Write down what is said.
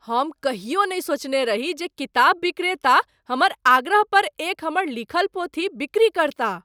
हम कहियो नहि सोचने रही जे किताब विक्रेता हमर आग्रह पर एक हमर लिखल पोथी बिक्री करताह ।